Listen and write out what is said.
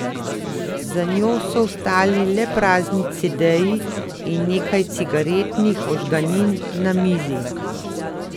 Za njo so ostali le prazni cedeji in nekaj cigaretnih ožganin na mizi.